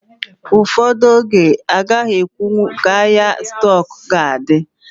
Ụfọdụ oge, agaghị ekwu nwu ka ọnọdụ ahịa stoku ga adi